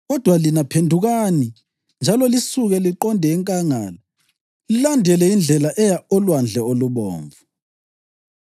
Kodwa lina, phendukani njalo lisuke liqonde enkangala lilandele indlela eya oLwandle oluBomvu.’